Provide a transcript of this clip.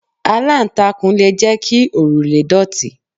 Aláǹtakùn le jẹ́ kí òrùlé dọ̀tí.